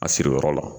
A siriyɔrɔ la